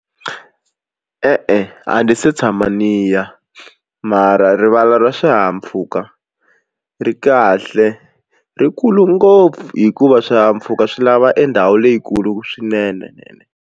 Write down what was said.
E-e a ndzi se tshama ni ya mara rivala ra swihahampfhuka ri kahle ri kulu ngopfu hikuva swihahampfhuka swi lava e ndhawu leyikulu swinene.